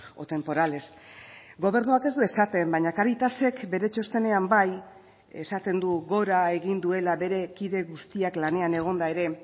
o temporales gobernuak ez du esaten baina cáritasek bere txostenean bai esaten du gora egin duela bere kide guztiak lanean egonda ere